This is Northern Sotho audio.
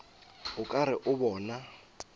o ka re o bona